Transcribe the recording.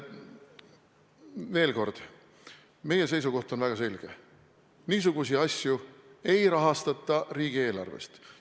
Veel kord, meie seisukoht on väga selge: niisuguseid asju ei rahastata riigieelarvest.